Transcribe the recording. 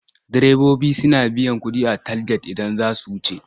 Direbobi suna biyan kuɗi a talget idan za a wuce.